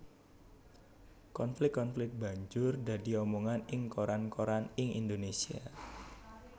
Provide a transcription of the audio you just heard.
Konflik konflik banjur dadi omongan ing koran koran ing Indonésia